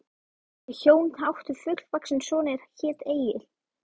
Þau hjón áttu fullvaxinn son er hét Egill.